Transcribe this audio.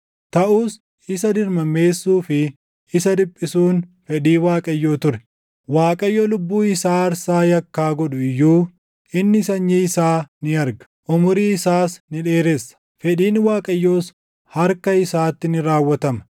Taʼus isa dirmammeessuu fi isa dhiphisuun fedhii Waaqayyoo ture; Waaqayyo lubbuu isaa aarsaa yakkaa godhu iyyuu inni sanyii isaa ni arga; umurii isaas ni dheeressa; fedhiin Waaqayyoos harka isaatti ni raawwatama.